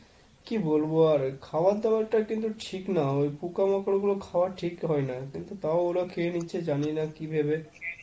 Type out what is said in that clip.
কি বলবো আর, খাবার দাবার টা কিন্তু ঠিক না। ওই পোকামাকড় গুলো খাওয়া ঠিক হয় না। কিন্তু তাও ওরা খেয়ে নিচ্ছে জানে না কি ভেবে।